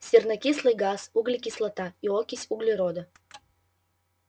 сернокислый газ углекислота и окись углерода